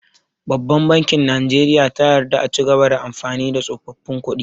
Babban bankin najeriya ta yarda a cigaba da amfani da tsofaffin kuɗi